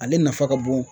Ale nafa ka bon